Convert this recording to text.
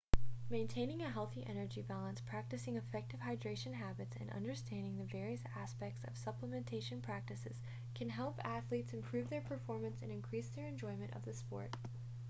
maintaining a healthy energy balance practicing effective hydration habits and understanding the various aspects of supplementation practices can help athletes improve their performance and increase their enjoyment of the sport